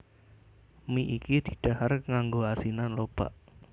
Mi iki didhahar nganggo asinan lobak